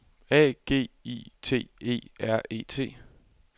A G I T E R E T